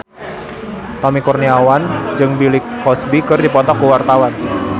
Tommy Kurniawan jeung Bill Cosby keur dipoto ku wartawan